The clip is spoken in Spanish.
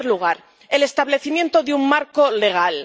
En primer lugar, el establecimiento de un marco legal.